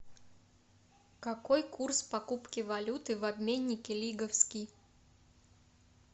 какой курс покупки валюты в обменнике лиговский